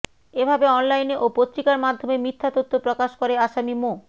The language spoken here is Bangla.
এভাবে অনলাইনে ও পত্রিকার মাধ্যমে মিথ্যা তথ্য প্রকাশ করে আসামি মো